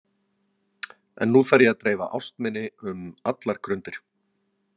En nú þarf ég að dreifa ást minni um allar grundir.